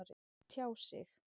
Tjá sig